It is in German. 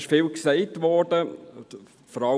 Vieles wurde gesagt.